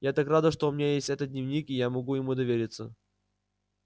я так рада что у меня есть этот дневник и я могу ему довериться